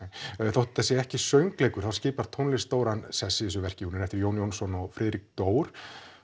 þótt þetta sé ekki söngleikur þá skipar tónlist stóran sess í þessu verki hún er eftir Jón Jónsson og Friðrik Dór